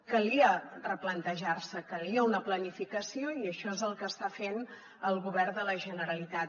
calia replantejar se calia una planificació i això és el que està fent el govern de la generalitat